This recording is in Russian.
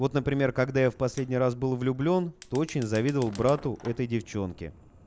вот например когда я в последний раз был влюблён то очень завидовал брату этой девчонки